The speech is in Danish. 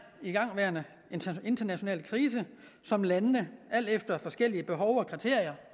igangværende international krise som landene alt efter forskellige behov og kriterier